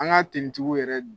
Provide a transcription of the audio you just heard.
An ga tigiw yɛrɛ dun